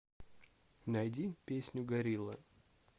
найди песню горилла